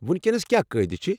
وُکینَس کیٚا قٲیدٕ چھِ؟